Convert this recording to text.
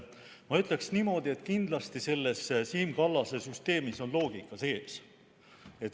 Ma ütleksin niimoodi, et kindlasti selles Siim Kallase süsteemis on loogika sees.